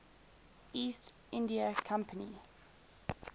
east india company